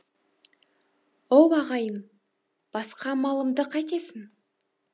оу ағайын басқа малымды қайтесің